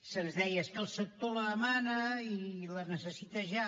se’ns deia és que el sector la demana i la necessita ja